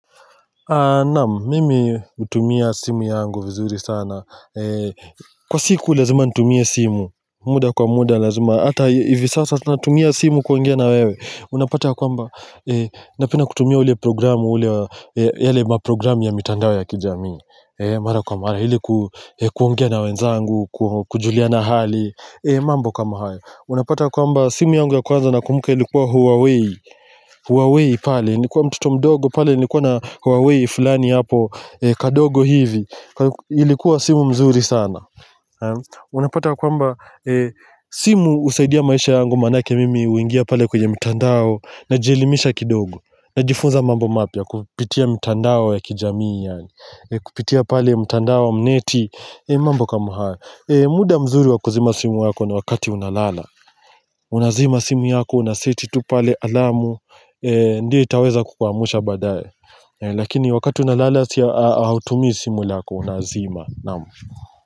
Naam, mimi hutumia simu yangu vizuri sana Kwa siku lazima nitumie simu muda kwa muda lazima Hata hivi sasa natumia simu kuangia na wewe Unapata kwa mba Napenda kutumia ule programu yale maprogramu ya mitandao ya kijami Mara kwa mara Hili kuongia na wenzangu Kujulia na hali mambo kama hayo Unapata kwamba simu yangu ya kwanza na kumbuka ilikuwa Huawei Huawei pale Nikuwa mtuto mdogo pale nikuwa na Huawei ifulani hapo kadogo hivi ilikuwa simu mzuri sana unapata kwamba simu husaidia maisha yangu maanake mimi huingia pale kwenye mitandao najielimisha kidogo na jifunza mambo mapya kupitia mitandao ya kijamii kupitia pale mitandao mneti mambo kama haya muda mzuri wako zima simu wako na wakati unalala unazima simu yako unaseti tu pale alamu ndiyo itaweza kukwamusha baadaye Lakini wakati unalala siya hautumii simu lako unazima Naam.